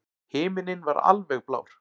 Himinninn var alveg blár.